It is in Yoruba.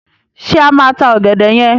Ṣé a máa ta ọ̀gẹ̀dẹ̀ yẹn?